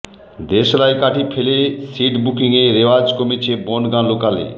দেশলাই কাঠি ফেলে সিট বুকিংয়ের রেওয়াজ কমেছে বনগাঁ লোকালে